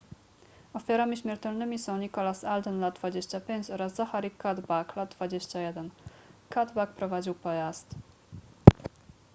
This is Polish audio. ofiarami śmiertelnymi są nicholas alden lat 25 oraz zachary cuddeback lat 21 cuddeback prowadził pojazd